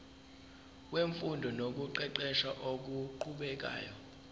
wemfundo nokuqeqesha okuqhubekayo